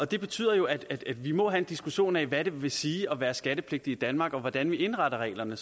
det betyder jo at vi må have en diskussion af hvad det vil sige at være skattepligtig i danmark og om hvordan vi indretter reglerne